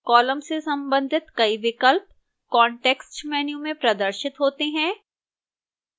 columns से संबंधित कई विकल्प context menu में प्रदर्शित होते हैं